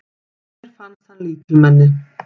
Mér fannst hann lítilmenni.